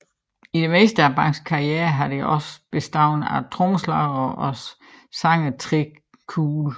I det meste af bandets karriere har det også bestået af trommeslager og sanger Tré Cool